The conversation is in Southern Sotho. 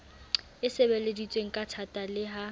e sebeleditsweng kathata le ha